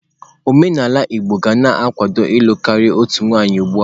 Omenala Igbo ka na-akwado ịlụ karịa otu nwaanyị ugbu a.